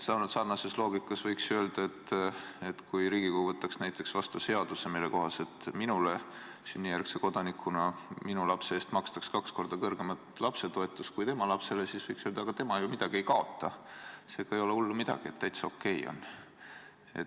Sarnase loogikaga võiks ju öelda, et kui Riigikogu võtaks näiteks vastu seaduse, mille kohaselt minule sünnijärgse kodanikuna makstaks minu lapse eest kaks korda kõrgemat lapsetoetust kui tema lapsele, siis võiks öelda, aga tema ju midagi ei kaota, seega ei ole hullu midagi, täitsa okei on.